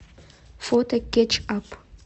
фото кетч ап